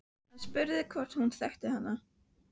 Hann spurði hvort hún þekkti hana.